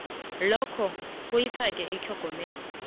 lokho ifaka itlhogomelo